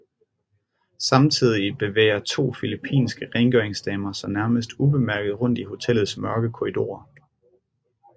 Samtidig bevæger to filippinske rengøringsdamer sig nærmest ubemærket rundt i hotellets mørke korridorer